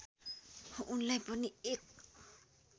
उनलाई पनि एक